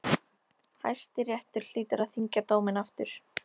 Hæstiréttur hlýtur að þyngja dóminn aftur.